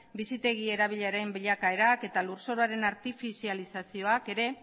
bizitegi erabiliaren bilakaerak eta lurzoruaren artifizializazioak ere